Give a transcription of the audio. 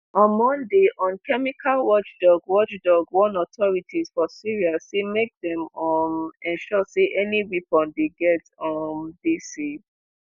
on monday un chemical watchdog watchdog warn authorities for syria say make dem um ensure say any weapon dem get um dey safe.